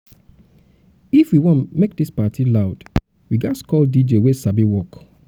if we wan make this party loud we ghas call dj wey sabi work